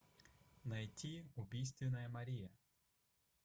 найти убийственная мария